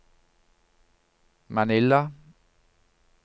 Manila